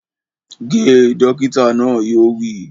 Ge! Dókítà náà yóò wí